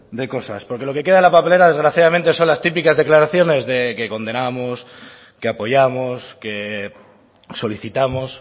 de cosas porque lo queda en la papelera desgraciadamente son las típicas declaraciones de que condenamos que apoyamos que solicitamos